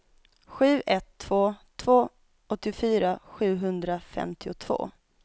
sju ett två två åttiofyra sjuhundrafemtiotvå